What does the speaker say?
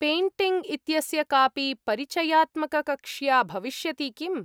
Painting इत्यस्य कापि परिचयात्मककक्ष्या भविष्यति किम्?